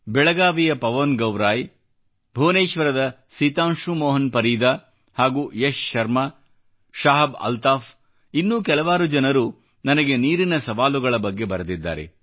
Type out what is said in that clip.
ಬೆಳಗಾವಿಯ ಪವನ್ ಗೌರಾಯಿ ಭುವನೇಶ್ವರದ ಸಿತಾಂಶು ಮೋಹನ್ ಪರೀದಾ ಹಾಗೂ ಯಶ್ ಶರ್ಮಾ ಶಾಹಬ್ ಅಲ್ತಾಫ್ ಇನ್ನೂ ಕೆಲವಾರು ಜನರು ನನಗೆ ನೀರಿನ ಸವಾಲುಗಳ ಬಗ್ಗೆ ಬರೆದಿದ್ದಾರೆ